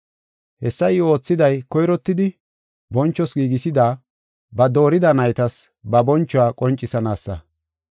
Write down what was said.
Hessa I oothiday koyrottidi bonchoos giigisida, ba doorida naytas ba bonchuwa qoncisanaasa.